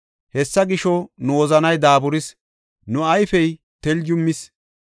Hessa gisho, nu wozanay daaburis; nu ayfey teljumis.